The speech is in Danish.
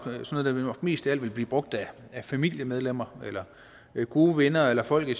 mest af alt vil blive brugt af familiemedlemmer gode venner eller folk i